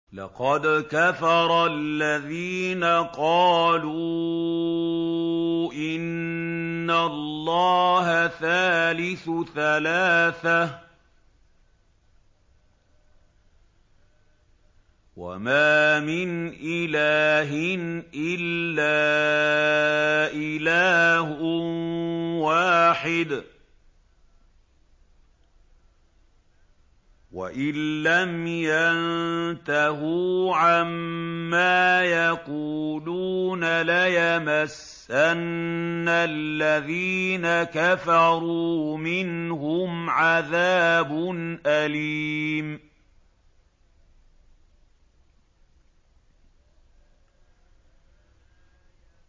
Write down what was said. لَّقَدْ كَفَرَ الَّذِينَ قَالُوا إِنَّ اللَّهَ ثَالِثُ ثَلَاثَةٍ ۘ وَمَا مِنْ إِلَٰهٍ إِلَّا إِلَٰهٌ وَاحِدٌ ۚ وَإِن لَّمْ يَنتَهُوا عَمَّا يَقُولُونَ لَيَمَسَّنَّ الَّذِينَ كَفَرُوا مِنْهُمْ عَذَابٌ أَلِيمٌ